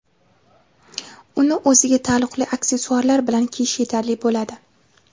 Uni o‘ziga taalluqli aksessuarlar bilan kiyish yetarli bo‘ladi.